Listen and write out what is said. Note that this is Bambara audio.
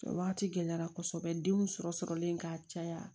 O wagati gɛlɛyara kɔsɛbɛ denw sɔrɔ sɔrɔlen ka caya